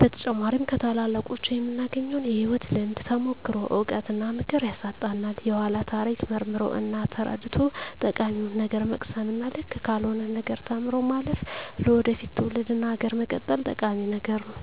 በተጨማሪም ከታላላቆቹ የምናገኘውን የህይወት ልምድ፣ ተሞክሮ፣ እውቀት እና ምክር ያሳጣናል። የኃላን ታሪክ መርምሮ እና ተረድቶ ጠቃሚውን ነገር መቅሰም እና ልክ ካልሆነው ነገር ተምሮ ማለፍ ለወደፊት ትውልድ እና ሀገር መቀጠል ጠቂሚ ነገር ነው።